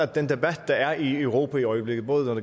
den debat der er i europa i øjeblikket både når